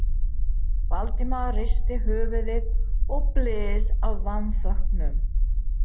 Valdimar hristi höfuðið og blés af vanþóknun.